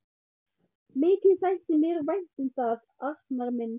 Mikið þætti mér vænt um það, Arnar minn!